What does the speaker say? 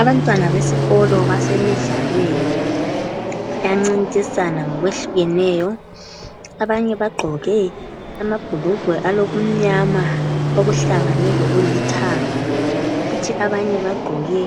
Abantwana besikolo basemidlalweni kuyancintiswana ngokwehlukeneyo. Abanye bagqoke amabhulugwe alokumnyama okuhlangene lokulithanga. Abanye bagqoke